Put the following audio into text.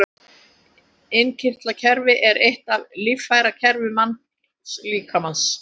Innkirtlakerfi er eitt af líffærakerfum mannslíkamans.